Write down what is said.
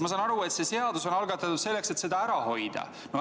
Ma saan aru, et see seadus on algatatud selleks, et seda ära hoida.